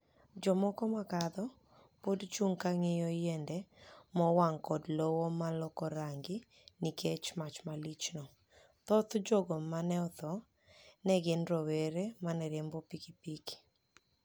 Jomoko ma kadho podi chunig ' ka ginig'iyo yienide mowanig ' koda lowo ma loko ranigi niikech mach malichno. Thoth jogo ma ni e otho ni e gini rowere ma ni e riembo pikipiki.